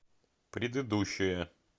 предыдущая